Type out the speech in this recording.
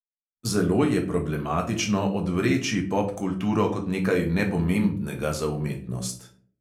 Zelo je problematično odvreči popkulturo kot nekaj nepomembnega za umetnost.